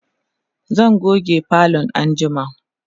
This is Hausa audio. zan goge falon anjima